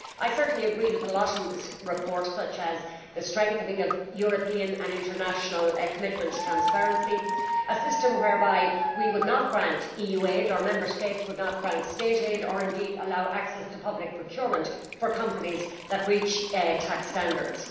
I certainly agree with a lot in this report, such as the strengthening of European and international commitment to transparency and a system whereby we would not grant EU aid or Member States would not grant state aid or indeed allow access to public procurement for companies that breach tax standards.